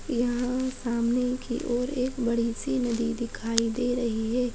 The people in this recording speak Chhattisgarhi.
यहाँ सामने की ओर एक बड़ी -सी नदी दिखाई दे रही है।